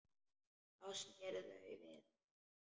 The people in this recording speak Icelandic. Þá sneru þau við.